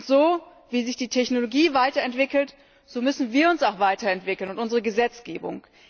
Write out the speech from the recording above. So, wie sich die Technologie weiterentwickelt, müssen auch wir uns weiterentwickeln und unsere Gesetzgebung.